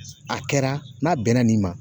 A kɛra n'a bɛnna nin ma